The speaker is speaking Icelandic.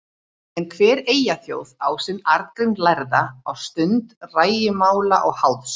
En hver eyþjóð á sinn Arngrím lærða á stund rægimála og háðs.